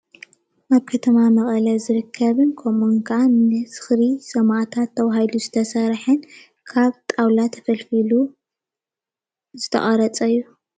ኣብ ከተማ መቐለ ዝርከብን ከምኡ እውን ካዓ ንዝኽሪ ሰማእታት ተባሂሉ ዝተሰርሐ ካብ ጣውላ ተፈልፊሉ ዝተቐረፀ እዩ።